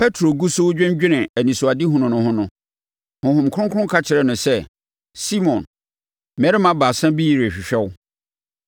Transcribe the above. Petro gu so redwennwene anisoadehunu no ho no, Honhom Kronkron ka kyerɛɛ no sɛ, “Simon, mmarima baasa bi rehwehwɛ wo.